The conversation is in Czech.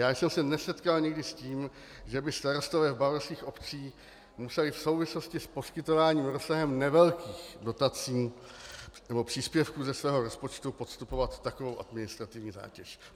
Já jsem se nesetkal nikdy s tím, že by starostové v bavorských obcích museli v souvislosti s poskytováním rozsahem nevelkých dotací nebo příspěvků ze svého rozpočtu podstupovat takovou administrativní zátěž.